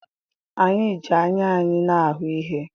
Anyị ji anya anyị na-ahụ ihe.